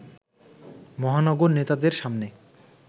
মহানগর নেতাদের সামনে